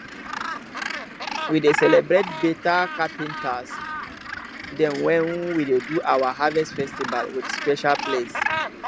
we dey celebrate beta carpenters dem wen we dey do our harvest festivals wit special place